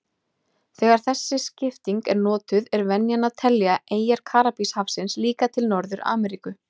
Þegar þessi skipting er notuð er venjan að telja eyjar Karíbahafsins líka til Norður-Ameríku.